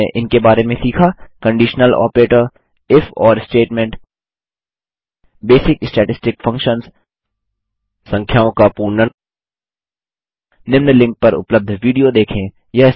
संक्षेप में हमने इनके बारे में सीखा कंडिशनल ऑपरेटर इफऑर स्टेटमेंटifओर स्टेटमेंट बेसिक स्टैटिस्टिक फंक्शन्स संख्याओं का पूर्णन निम्न लिंक पर उपलब्ध विडियो देखें